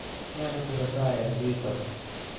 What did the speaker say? Ne netesetai eng twita